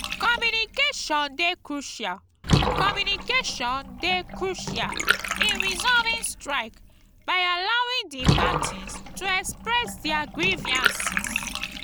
communication dey crucial communication dey crucial in resolving strike by allowing di parties to express their grievances.